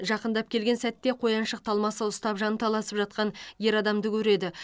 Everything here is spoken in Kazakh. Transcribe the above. жақындап келген сәтте қояншық талмасы ұстап жанталасып жатқан ер адамды көреді